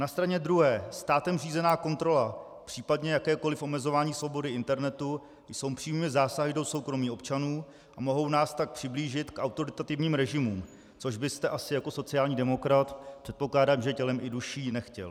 Na straně druhé státem řízená kontrola, případně jakékoliv omezování svobody internetu jsou přímými zásahy do soukromí občanů a mohou nás tak přiblížit k autoritativním režimům, což byste asi jako sociální demokrat, předpokládám, že tělem i duší, nechtěl.